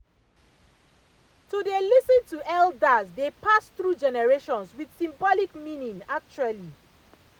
to dey lis ten to elders dey pass through generations with symbolic meaning actually